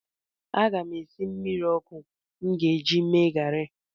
Aga m esi mmiri ọkụ m ga-eji mee garị.